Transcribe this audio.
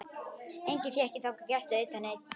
Enga fékk ég þangað gesti utan einn.